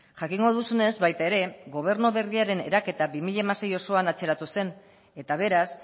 jakingo duzunez baita ere gobernu berriaren eraketa bi mila hamasei osoan atzeratu zen eta beraz